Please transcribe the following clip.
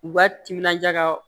U ka timinanja ka